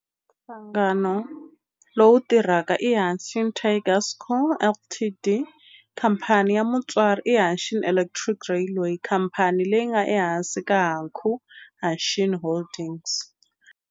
Nhlangano lowu tirhaka i Hanshin Tigers Co., Ltd. Khamphani ya mutswari i Hanshin Electric Railway, khamphani leyi nga ehansi ka Hankyu Hanshin Holdings.